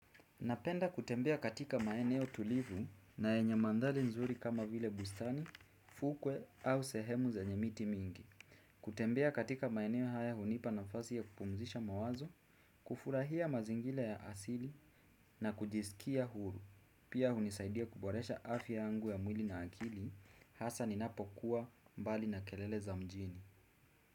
Napenda kutembea katika maeneo tulivu na yenye mandhari nzuri kama vile bustani, fukwe au sehemu zenye miti mingi. Kutembea katika maeneo haya hunipa nafasi ya kupumzisha mawazo, kufurahia mazingira ya asili na kujisikia huru. Pia hunisaidia kuboresha afya yangu ya mwili na akili hasa ninapokuwa mbali na kelele za mjini.